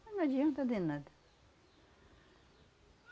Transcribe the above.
Mas não adianta de nada.